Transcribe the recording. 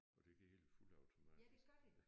Og det hele fuldautomatisk